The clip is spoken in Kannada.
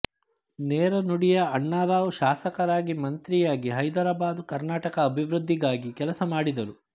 ನೇರ ನುಡಿಯ ಅಣ್ಣಾರಾವ್ ಶಾಸಕರಾಗಿ ಮಂತ್ರಿಯಾಗಿ ಹೈದರಾಬಾದು ಕರ್ನಾಟಕ ಅಭಿವೃದ್ಧಿಗಾಗಿ ಕೆಲಸ ಮಾಡಿದರು